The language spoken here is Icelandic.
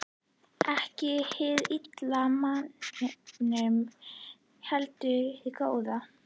Ekki hið illa í manninum, heldur hið góða.